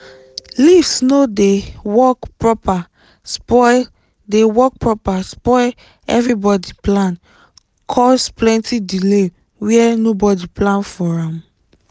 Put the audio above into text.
lift no dey work properspoil dey work properspoil everybody plan cause plenty delay were nobody plan for am